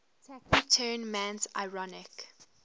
taciturn man's ironic